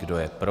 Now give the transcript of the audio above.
Kdo je pro?